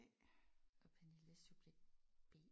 Og Pernille subjekt B